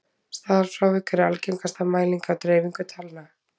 staðalfrávik er algengasta mæling á dreifingu talna